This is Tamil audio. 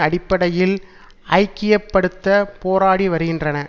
அடிப்படையில் ஐக்கிய படுத்த போராடி வருகின்றன